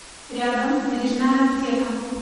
рядом бережная аптека